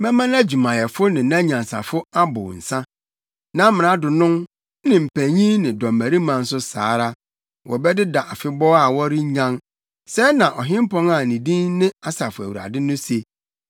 Mɛma nʼadwumayɛfo ne nʼanyansafo abow nsa nʼamradonom, ne mpanyimfo ne dɔmmarima nso saa ara; wɔbɛdeda afebɔɔ a wɔrennyan,” sɛɛ na ɔhempɔn a ne din ne Asafo Awurade, no se.